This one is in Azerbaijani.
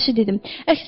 sözgəlişi dedim.